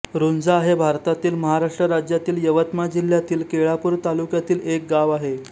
रुंझा हे भारतातील महाराष्ट्र राज्यातील यवतमाळ जिल्ह्यातील केळापूर तालुक्यातील एक गाव आहे